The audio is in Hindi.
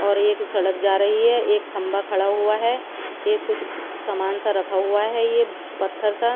और एक सड़क जा रही हैं एक खंबा खड़ा हुआ हैं ये कुछ समान सा रखा हुआ हैं ये पत्थर सा--